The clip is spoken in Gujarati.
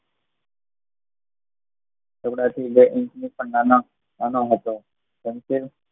ટુકડા બે ઇંચ થી પણ નાનો હતો